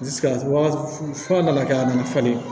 fura nana kɛ a nana falen